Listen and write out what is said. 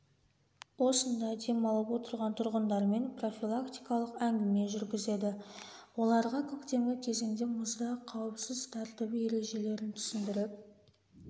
осында демалып отырған тұрғындармен профилактикалық әңгіме жүргізеді оларға көктемгі кезеңде мұзда қауіпсіз тәртібі ережелерін түсіндіріп